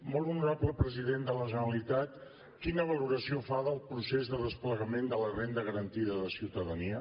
molt honorable president de la generalitat quina valoració fa del procés de desplegament de la renda garantida de ciutadania